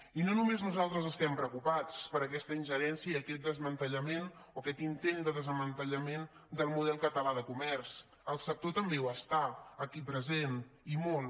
i no només nosaltres estem preocupats per aquesta ingerència i aquest desmantellament o aquest intent de desmantellament del model català de comerç el sector també ho està aquí present i molt